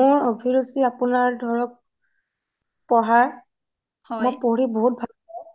মোৰ অভিৰুচি আপুনাৰ ধৰক পঢ়াৰ মই পঢ়ি বহুত ভাল পাওঁ